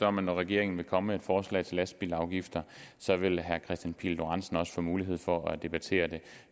om at når regeringen kommer med et forslag til lastbilafgifter vil herre kristian pihl lorentzen også få mulighed for at debattere det